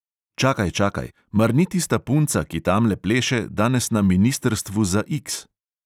Čakaj, čakaj, mar ni tista punca, ki tamle pleše, danes na ministrstvu za X?